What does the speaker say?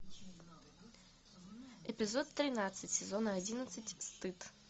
эпизод тринадцать сезона одиннадцать стыд